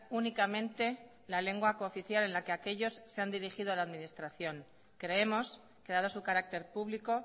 únicamente la lengua cooficial en la que aquellos se han dirigido a la administración creemos que dado su carácter público